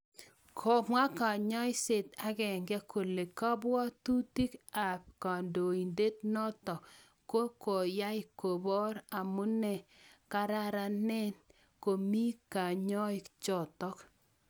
Komwa kanyasiet agenge kole kabwatutik abd kandoindenotok ne koyai kobor amune kararanen komii kanyaik chotok.